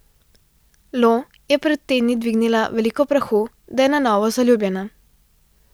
Lo je pred tedni dvignila veliko prahu, da je na novo zaljubljena.